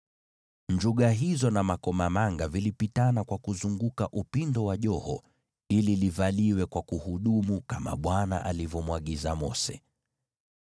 Hivyo vikengele na makomamanga vilipishana kuzunguka upindo wa joho ili livaliwe kwa kuhudumu, kama Bwana alivyomwagiza Mose.